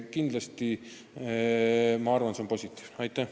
Kindlasti on see positiivne.